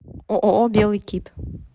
ооо белый кит